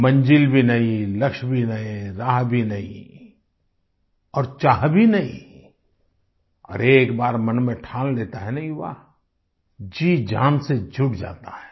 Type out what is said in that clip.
मंजिल भी नयी लक्ष्य भी नए राह भी नयी और चाह भी नयी अरे एक बार मन में ठान लेता हैं न युवा जीजान से जुट जाता है